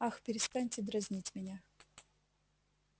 ах перестаньте дразнить меня